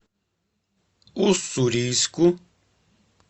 уссурийску